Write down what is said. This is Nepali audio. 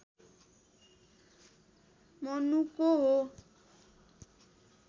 मनुको हो